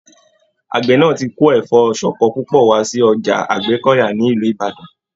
Àgbẹ náà tí kò Ẹfọ ṣọkọ púpọ̀ wá sí Ọjà Àgbẹ́kọ̀yà ni Ìlú Ìbàdàn.